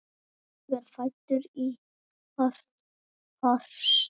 Ég er fæddur í Horst.